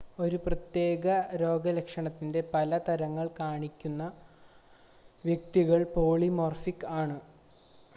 ഒരു പ്രത്യേക രോഗലക്ഷണത്തിൻ്റെ പല തരങ്ങൾ കാണിക്കുന്ന വ്യക്തികൾ പോളിമോർഫിക് ആണ്